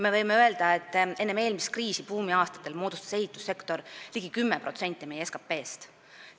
Võib öelda, et buumiaastatel enne eelmist kriisi moodustas ehitussektor ligi 10% meie SKT-st.